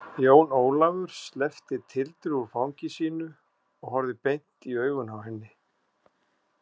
Jón Ólafur sleppti Tildu úr fangi sínu og horfði beint i augun á henni.